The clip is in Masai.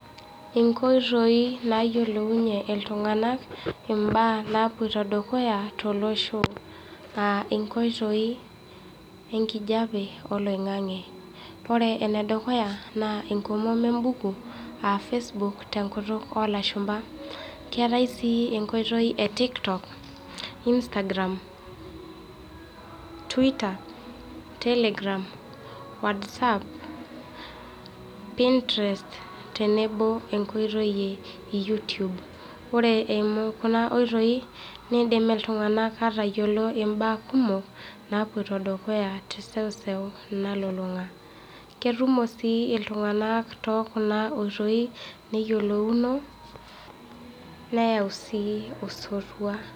Inkoitoi naa yiolounye iltung'anak imbaa naa poito dukuya tolosho. Aa inkoitoi enkijape oloingange. Ore enedukuya naa enkomom embuku aa Facebook tenkutuk oo lashumpa keetai sii enkoitoi e tiktok, instagram, twitter, telegram Whatsapp, pininterest tenebo oo enkoitoi e YouTube. Ore eimu kuna oitoi neidim iltung'anak aatayiolo imbaa kumok, naapoito dukuya te seu seu nalulunga. Ketumo sii iltung'anak too kuna oitoi neyiolouno nereu sii osotua.